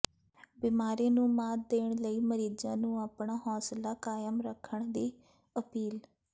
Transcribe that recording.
ਬੀਮਾਰੀ ਨੂੰ ਮਾਤ ਦੇਣ ਲਈ ਮਰੀਜ਼ਾਂ ਨੂੰ ਅਪਣਾ ਹੌਸਲਾ ਕਾਇਮ ਰੱਖਣ ਦੀ ਅਪੀਲ